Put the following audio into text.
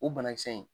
O banakisɛ in